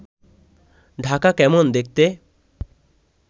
ঢাকা কেমন দেখতে